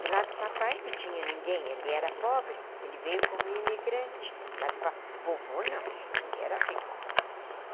Do lado do papai não tinha ninguém, ele era pobre, ele veio como imigrante, o lado do pa do vovô não, ele era rico.